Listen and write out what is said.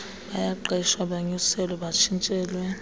bayaqeshwa banyuselwe batshintshelwe